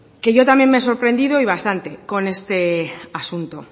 que yo también me he sorprendido y bastante con este asunto